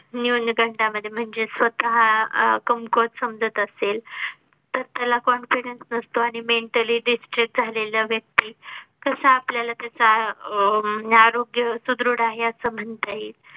न्यूनगंडामध्ये मध्ये म्हणजे स्वतः अह कमकुवत समजत असेल तर त्याला confidence नसतो आणि mentally distract झालेल्या व्यक्ती कसं आपल्याला अह त्याचा म्हणजे आरोग्य सुदृढ आहे असं म्हणता येईल